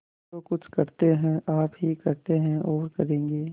जो कुछ करते हैं आप ही करते हैं और करेंगे